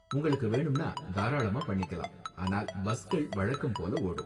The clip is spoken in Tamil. உங்களுக்கு வேணும்னா, தாராளமா பண்ணிக்கலாம், ஆனால் பஸ்கள் வழக்கம் போல ஓடும்.